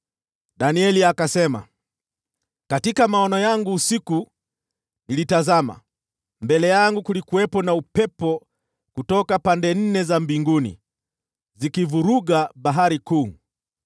Danieli akasema: “Katika maono yangu usiku nilitazama, na hapo mbele yangu kulikuwepo na upepo kutoka pande nne za mbingu, ukivuruga bahari kuu.